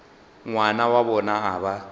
ngwana wa bona a ba